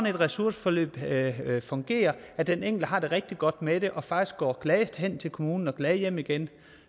et ressourceforløb fungerer og den enkelte har det rigtig godt med det og faktisk går glad hen til kommunen og glad hjem igen